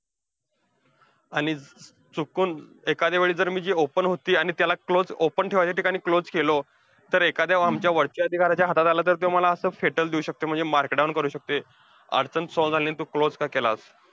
आणि चुकून एखादया वेळी जर मी जी open होती आणि त्याला closed open ठेवायच्या ठिकाणी closed केलो, तर एखादया आमच्या वरच्या अधिकाऱ्याच्या हातात आलं तर त्यो मला असं फेटल देऊ शकतोय market down करू शकतोय अडचण solve झाली नाही, आणि तू closed का केलास?